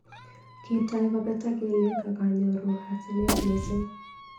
Kitoi kobetak kelyek ak anyoru asenet mising.